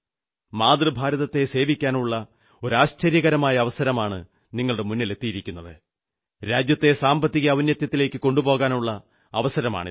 മാതൃഭാരതത്തെ സേവിക്കാനുള്ള ഒരു ആശ്ചര്യകരമായ അവസരം നമ്മുടെ മുന്നിലെത്തിയിരിക്കയാണ് രാജ്യത്തെ സാമ്പത്തിക ഔന്നത്യത്തിലേക്കു കൊണ്ടുപോകാനുള്ള അവസരമാണിത്